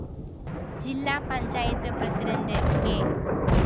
ജില്ലാ panchayat president K